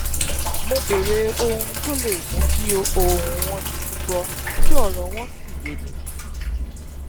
mo béèrè ohun tó le mú kí ohùn wọn di gbígbọ kí ọrọ wọn sì yéni